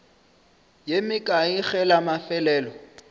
ye mekae ge la mafelelo